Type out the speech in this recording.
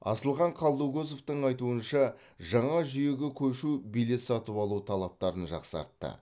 асылхан қалдыкозовтың айтуынша жаңа жүйеге көшу билет сатып алу талаптарын жақсартты